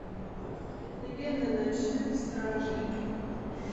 легенды ночных стражей